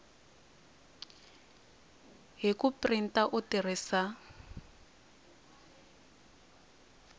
hi ku printa u tirhisa